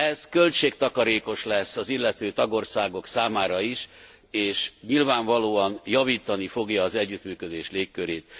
Ez költségtakarékos lesz az illető tagországok számára is, és nyilvánvalóan javítani fogja az együttműködés légkörét.